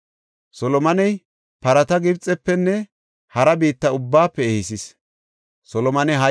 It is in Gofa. Solomoney parata Gibxefenne hara biitta ubbaafe ehisees.